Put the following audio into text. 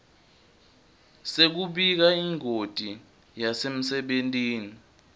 sekubika ingoti yasemsebentini